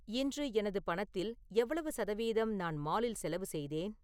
இன்று எனது பணத்தில் எவ்வளவு சதவீதம் நான் மாலில் செலவு செய்தேன்